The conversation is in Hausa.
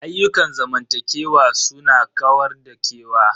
Ayyukan zamantakewa su na kawar da kewa.